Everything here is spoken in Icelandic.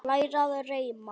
Læra að reima